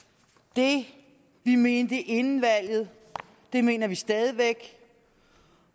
det vi mente inden valget mener vi stadig væk